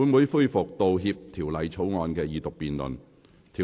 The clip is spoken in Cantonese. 本會現在恢復《道歉條例草案》的二讀辯論。